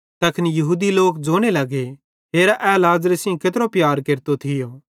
तैखन यहूदी लोक ज़ोने लगे हेरा ए लाज़रे सेइं केत्रो प्यार केरतो थियो